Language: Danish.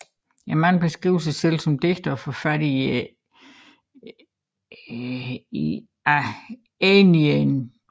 Manden beskriver sig selv som digter og forfatter af Æneiden